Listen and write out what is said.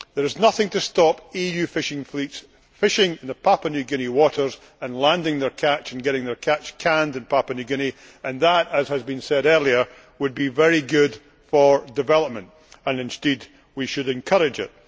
There is nothing to stop EU fishing fleets fishing in Papua New Guinea waters and landing their catch and getting their catch canned in Papua New Guinea and, as has been said earlier, that would be very good for development, and indeed we should encourage it.